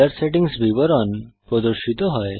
colour settings বিবরণ প্রদর্শিত হয়